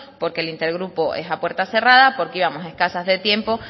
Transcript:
porque el inter grupo es a puerta cerrada porque íbamos escasa de tiempo